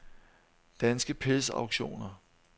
Danske Pels Auktioner